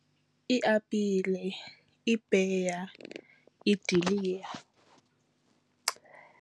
Iiapile, iipeya, iidiliya.